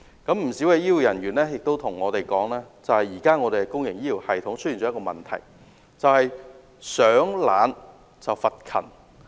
不少醫護人員向我們表示，目前香港的公營醫療系統出現一個問題，就是"賞懶罰勤"。